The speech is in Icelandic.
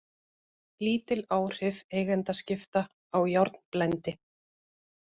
Lítil áhrif eigendaskipta á járnblendi